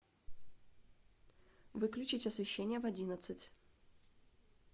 выключить освещение в одиннадцать